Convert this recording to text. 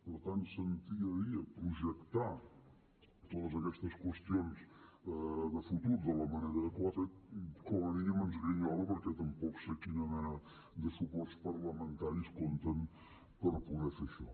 per tant sentir a dir i a projectar totes aquestes qüestions de futur de la manera que ho ha fet com a mínim ens grinyola perquè tampoc sé amb quina mena de suports parlamentaris compten per poder fer això